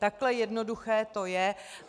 Takhle jednoduché to je.